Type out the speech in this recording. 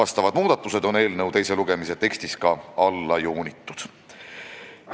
Need muudatused on eelnõu teise lugemise tekstis alla joonitud.